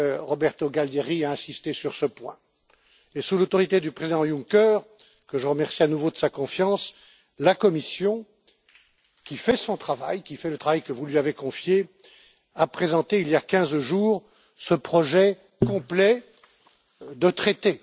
Roberto Gualtieri a insisté sur ce point. Sous l'autorité du président Juncker que je remercie à nouveau de sa confiance la Commission qui fait son travail, qui fait le travail que vous lui avez confié a présenté, il y a quinze jours, ce projet complet de traité.